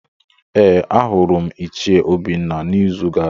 Ee, ahụrụ m Ichie Obinna n’izu gara aga.